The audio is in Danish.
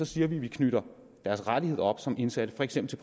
siger vi at vi knytter deres rettigheder som indsatte for eksempel